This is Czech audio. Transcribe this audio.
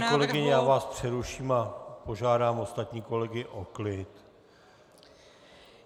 Paní kolegyně, já vás přeruším a požádám ostatní kolegy o klid.